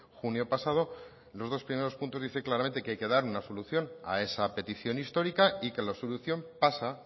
junio pasado los dos primeros puntos dice claramente que hay que dar una solución a esa petición histórica y que la solución pasa